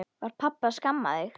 Var pabbi að skamma þig?